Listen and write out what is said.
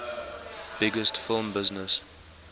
biggest film business